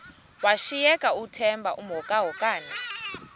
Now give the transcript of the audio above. washiyeka uthemba emhokamhokana